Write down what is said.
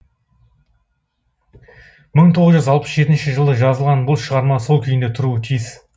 мың тоғыз жүз алпыс жетінші жылы жазылған бұл шығарма сол күйінде тұруы тиіс